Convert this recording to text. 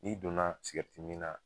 N'i donna sigɛriti min na